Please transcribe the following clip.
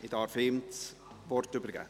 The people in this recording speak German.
Ich darf ihm das Wort übergeben.